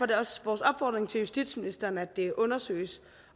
det også vores opfordring til justitsministeren at det undersøges